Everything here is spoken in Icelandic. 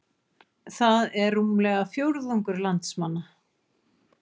Það er rúmlega fjórðungur landsmanna